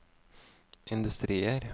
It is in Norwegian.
industrier